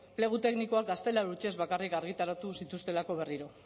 plegu teknikoak gaztelera hutsez bakarrik argitaratu zituztelako berriro